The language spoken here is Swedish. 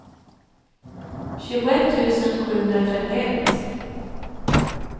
tjugoett tusen sjuhundratrettioett